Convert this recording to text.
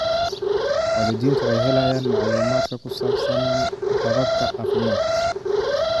Waalidiintu waxay helayaan macluumaadka ku saabsan hababka caafimaadka.